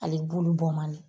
Ale bulu bɔn man di